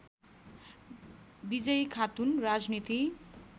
विजयी खातुन राजनीति